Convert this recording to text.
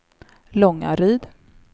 Långaryd